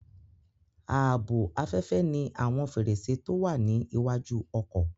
Ààbò afẹ́fẹ́ ní àwọn fèrèsé tó wà ní iwájú ọkọ̀